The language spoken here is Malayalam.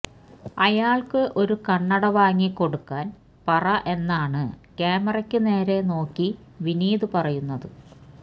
അയാള്ക്ക് ഒരു കണ്ണട വാങ്ങി കൊടുക്കാന് പറ എന്നാണ് ക്യാമറയ്ക്ക് നേരെ നോക്കി വിനീത് പറയുന്നത്